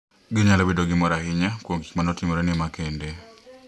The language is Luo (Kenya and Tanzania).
Ginyalo bedo gi mor ahinya kuom gik ma ne otimorene makende .